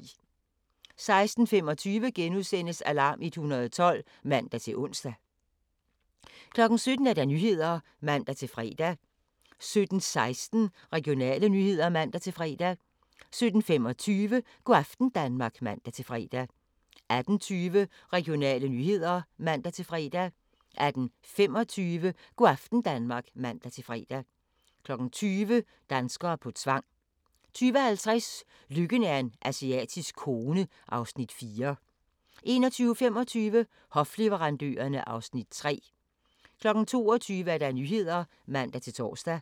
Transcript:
16:25: Alarm 112 *(man-ons) 17:00: Nyhederne (man-fre) 17:16: Regionale nyheder (man-fre) 17:25: Go' aften Danmark (man-fre) 18:20: Regionale nyheder (man-fre) 18:25: Go' aften Danmark (man-fre) 20:00: Danskere på tvang 20:50: Lykken er en asiatisk kone (Afs. 4) 21:25: Hofleverandørerne (Afs. 3) 22:00: Nyhederne (man-tor)